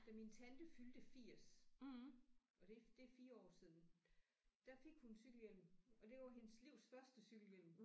Da min tante fyldte 80 og det det er 4 år siden der fik hun cykelhjelm og det var hendes livs første cykelhjelm